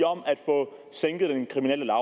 om at få sænket den kriminelle